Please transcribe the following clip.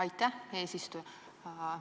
Aitäh, eesistuja!